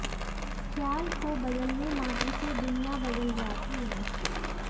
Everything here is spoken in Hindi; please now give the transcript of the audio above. ख्याल को बदलने मात्र से दुनिया बदल जाती है